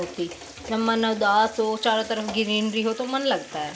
जब मन उदास हो चारो तरफ ग्रीननरी हो तो मन लगता है |